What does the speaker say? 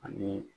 Ani